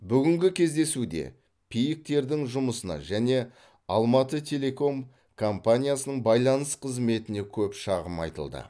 бүгінгі кездесуде пик тердің жұмысына және алматытелеком компаниясының байланыс қызметіне көп шағым айтылды